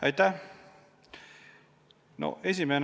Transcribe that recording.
Aitäh!